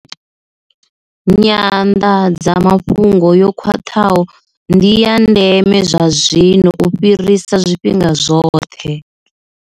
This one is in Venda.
Nyanḓadzamafhungo yo khwaṱhaho ndi ya ndeme zwazwino u fhirisa zwifhinga zwoṱhe.